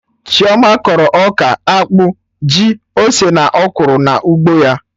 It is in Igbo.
Chioma kọrọ ọka, akpụ, ji, ose na ọkwụrụ na ugbo ya